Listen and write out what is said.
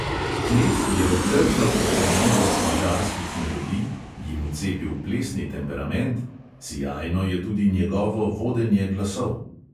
Knez je obdržal očarljivost madžarskih melodij, jim vcepil plesni temperament; sijajno je tudi njegovo vodenje glasov.